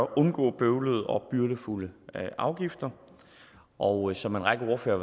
undgå bøvlede og byrdefulde afgifter og som en række ordførere